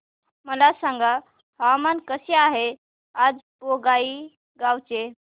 मला सांगा हवामान कसे आहे आज बोंगाईगांव चे